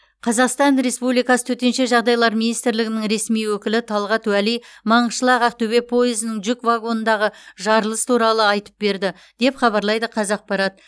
қазақстан республикасы төтенше жағдайлар министрлігінің ресми өкілі талғат уәли маңғышлақ ақтөбе пойызының жүк вагонындағы жарылыс туралы айтып берді деп хабарлайды қазақпарат